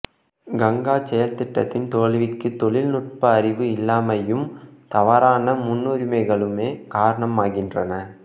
கங்கா செயல் திட்டத்தின் தோல்விக்கு தொழில் நுட்ப அறிவு இல்லாமையும்தவறான முன்னுரிமைகளுமே காரணமாகின்றன